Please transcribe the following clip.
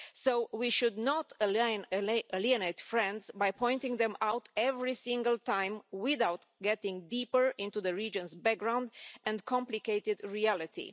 So we should not alienate friends by pointing them out every single time without going deeper into the region's background and complicated reality.